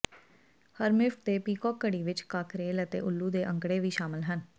ਹਰਮਿਫਟ ਦੇ ਪੀਕੌਕ ਘੜੀ ਵਿਚ ਕਾਕਰੇਲ ਅਤੇ ਉੱਲੂ ਦੇ ਅੰਕੜੇ ਵੀ ਸ਼ਾਮਲ ਹਨ